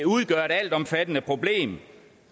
udgør et altomfattende problem